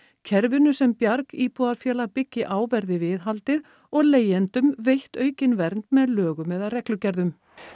kerfinu sem Bjarg byggi á verði viðhaldið og leigjendum veitt aukin vernd með lögum eða reglugerðum